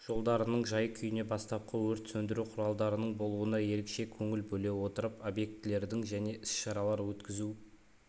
жолдарының жай-күйіне бастапқы өрт сөндіру құралдарының болуына ерекше көңіл бөле отырып объектілердің және іс-шаралар өткізу